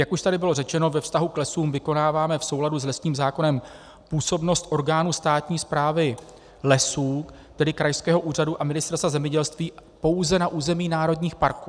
Jak už tady bylo řečeno, ve vztahu k lesům vykonáváme v souladu s lesním zákonem působnost orgánů státní správy lesů, tedy krajského úřadu a Ministerstva zemědělství, pouze na území národních parků.